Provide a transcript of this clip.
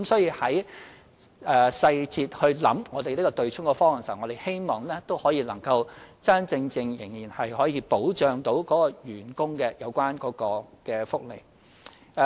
因此，從細節考慮"對沖"方案時，我們希望可以真真正正保障員工的有關福利。